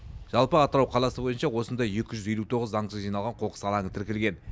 жалпы атырау қаласы бойынша осындай екі жүз елу тоғыз заңсыз жиналған қоқыс алаңы тіркелген